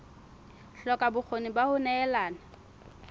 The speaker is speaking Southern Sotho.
hloka bokgoni ba ho nehelana